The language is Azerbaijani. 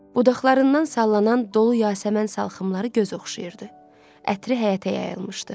Budaqlarından sallanan dolu yasəmən salxımları göz oxşayırdı, ətri həyətə yayılmışdı.